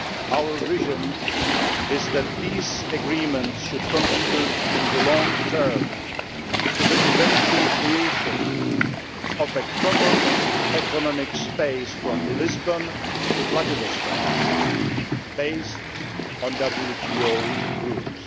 Our vision is that these agreements should contribute in the long term to the eventual creation of a common economic space from Lisbon to Vladivostok based on WTO rules.